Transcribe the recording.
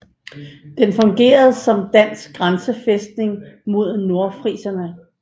Den fungerede som dansk grænsefæstning mod nordfrisere